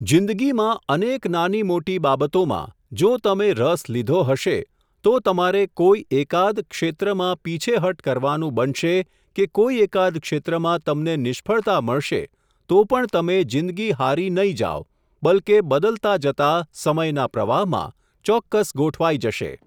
જિંદગીમાં, અનેક નાનીમોટી બાબતોમાં, જો તમે રસ લીધો હશે, તો તમારે કોઈ એકાદ, ક્ષેત્રમાં પીછેહઠ કરવાનું બનશે કે કોઈ એકાદ ક્ષેત્રમાં તમને નિષ્ફળતા મળશે, તો પણ તમે જિંદગી હારી નહીં જાઓ, બલકે બદલતા જતા, સમયના પ્રવાહમાં, ચોક્કસ ગોઠવાઈ જશે.